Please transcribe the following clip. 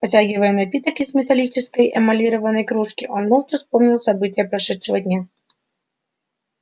потягивая напиток из металлической эмалированной кружки он молча вспоминал события прошедшего дня